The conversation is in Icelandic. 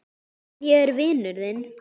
En ég er vinur þinn.